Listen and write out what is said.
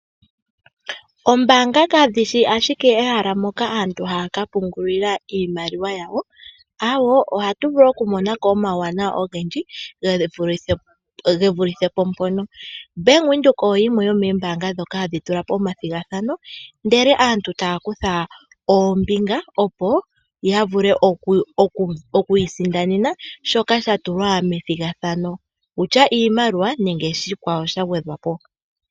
Oombanga kadhishi ashike ehala moka aantu hakapungulila iimaliwa yawo awo, oha tuvulu oku monako omawuwanawa ogendji gevulithepo pono, Bank Widheok oyo yimwe yomombanga dhoka hadhitula po omadhigathano ndele aantu tayakutha ombinga opo yavule okwisindanena shoka shatulwa methingathano wutya iimaliwa nenge shikwa wo shangwedhwapo.